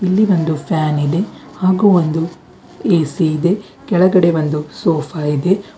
ಇಲ್ಲಿ ಒಂದು ಫ್ಯಾನ್ ಇದೆ ಹಾಗೂ ಒಂದು ಎ_ಸಿ ಇದೆ ಕೆಳಗಡೆ ಒಂದು ಸೋಫಾ ಇದೆ.